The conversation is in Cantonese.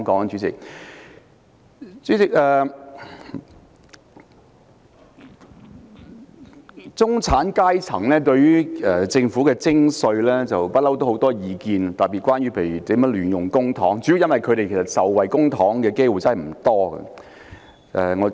主席，中產階層對於政府徵稅，特別是亂用公帑，一直很有意見，主要因為他們受惠於公帑的機會不多。